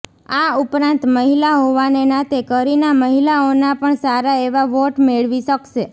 આ ઉપરાંત મહિલા હોવાને નાતે કરિના મહિલાઓના પણ સારા એવા વોટ મેળવી શકશે